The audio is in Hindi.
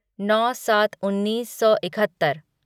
नौ सात उन्नीस सौ इकहत्तर